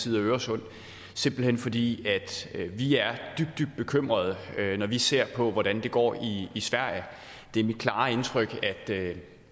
side af øresund simpelt hen fordi vi er dybt dybt bekymrede når vi ser hvordan det går i sverige det er mit klare indtryk at